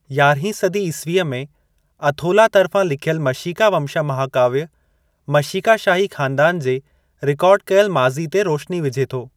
यारहीं सदी ईस्वीअ में अथोला तर्फ़ां लिखियलु मशीका वमशा महाकाव्य मशीका शाही ख़ानदानु जे रिकार्ड कयल माज़ी ते रोशिनी विझे थो।